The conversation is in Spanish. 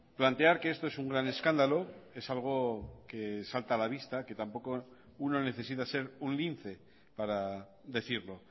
plantear que esto es un gran escándalo es algo que salta a la vista que tampoco uno necesita ser un lince para decirlo